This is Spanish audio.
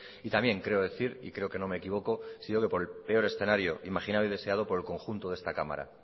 y también creo decir y creo que no me equivoco si digo por el peor escenario imaginado y deseado por el conjunto de esta cámara